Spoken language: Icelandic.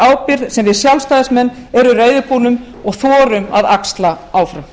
ábyrgð sem við sjálfstæðismenn erum reiðubúnir og þorum að axla áfram